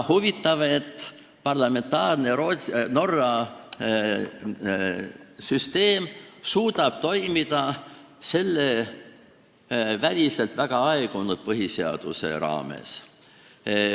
Huvitav, et Norra parlamentaarne süsteem suudab toimida selle väliselt väga aegunud põhiseaduse raames.